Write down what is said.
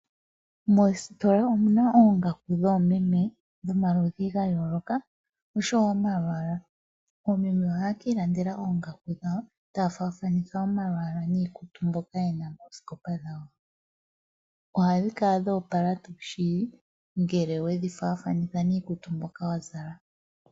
Mositola omuna oongaku dhoomeme dhomaludhi ga yooloka oshowo omalwaala. Oomeme ohaye kiilandela oongaku dhawo taafathanitha omalwaala niikutu mboka yena moosikopa dhawo. Ohadhi kala dhoopala tuu shili ngele wedhi faathanitha niikutu mboka wazala.